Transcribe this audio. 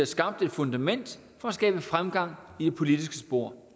skabt et fundament for at skabe fremgang i det politiske spor